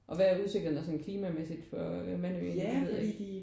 Og hvad er usikkerheden sådan klimamæssigt for Mandø egentlig? Det ved jeg ikke